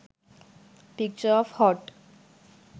picture of hot